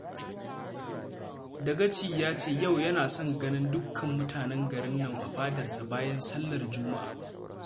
Dagaci ya ce yau yana son ganin dukkan mutanen garin nan a fadarsa bayan sallar Juma'a